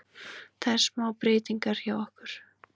Það er smá breytingar hjá okkur.